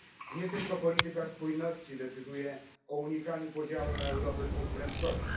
Nie tylko polityka spójności decyduje o unikaniu podziału na Europę dwóch prędkości.